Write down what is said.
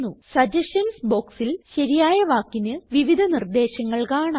suggestions ബോക്സിൽ ശരിയായ വാക്കിന് വിവിധ നിർദേശങ്ങൾ കാണാം